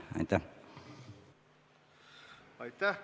Aitäh!